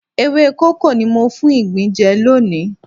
Ewé kókó ni mo fún ìgbín jẹ lónìí.